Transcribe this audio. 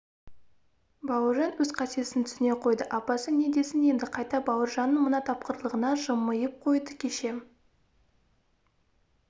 бауыржан өз қатесін түсіне қойды апасы не десін енді қайта бауыржанның мына тапқырлығына жымиып қойды кеше